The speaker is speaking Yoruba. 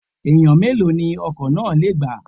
Èèyàn mélòó ni ọkọ̀ náà lè gbà?